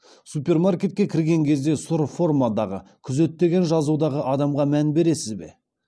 супермаркетке кірген кезде сұр формадағы күзет деген жазудағы адамға мән бересіз бе